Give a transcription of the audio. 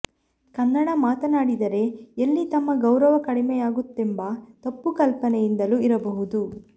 ಕನ್ನಡ ಮಾತಾನಾಡಿದರೆ ಎಲ್ಲಿ ತಮ್ಮ ಗೌರವ ಕಡಿಮೆಯಾಗುತ್ತದೆಂಬ ತಪ್ಪು ಕಲ್ಪನೆಯಿಂದಲೂ ಇರಬಹುದು